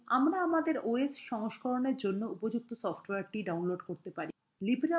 কিন্তু আমরা আমাদের os সংস্করণের জন্য উপযুক্ত সফ্টওয়্যারটি download করতে পারি